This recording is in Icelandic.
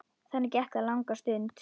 Þannig gekk það langa stund.